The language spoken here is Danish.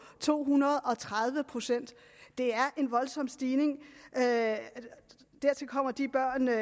to hundrede og tredive procent det er en voldsom stigning dertil kommer de børn der